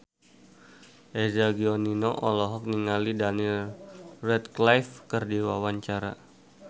Eza Gionino olohok ningali Daniel Radcliffe keur diwawancara